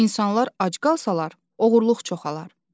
İnsanlar ac qalsalar, oğurluq çoxalır.